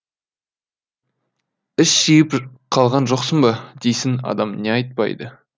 іш жиып қалған жоқсың ба дейсің адам не айтпайды